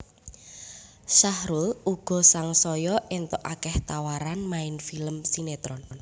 Sahrul uga sangsaya éntuk akéh tawaran main sinetron